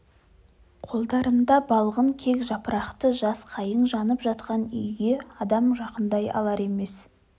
қолдарында балғын кек жапырақты жас қайың жанып жатқан үйге адам жақындай алар емес